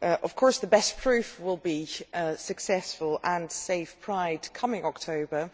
Of course the best proof will be a successful and safe Gay Pride this coming October